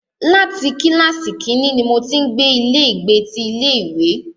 Láti kílàsì kínní ní mo ti ń gbé ilé ìgbé ti ilé ìwé.